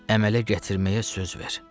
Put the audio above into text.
Əmələ gətirməyə söz ver.